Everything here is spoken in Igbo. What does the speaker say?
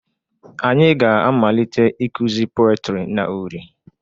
Anyị ga-amalite ịkụzi peotry na uri